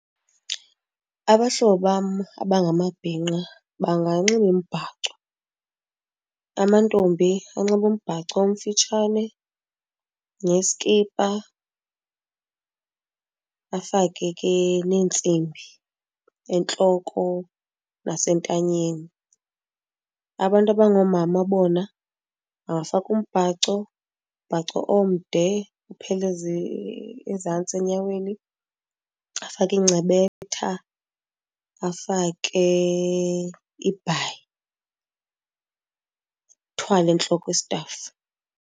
Abahlobo bam abangamabhinqa banganxiba imibhaco. Amantombi anxibe umbhaco omfitshane neskipa afake ke neentsimbi entloko nasentanyeni. Abantu abangoomama bona bangafaka umbhaco, umbhaco omde uphele ezantsi enyaweni, afake incebetha, afake ibhayi, athwale entloko istafu.